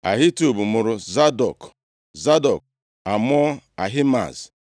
Ahitub mụrụ Zadọk, Zadọk amụọ Ahimaaz.